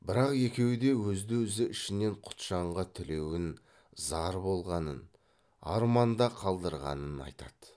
бірақ екеуі де өзді өзі ішінен құтжанға тілеуін зар болғанын арманда қалдырғанын айтады